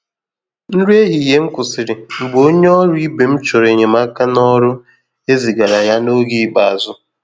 Nri ehihie m kwụsịrị mgbe onye ọrụ ibe m chọrọ enyemaka n’ọrụ e zigara ya n’oge ikpeazụ.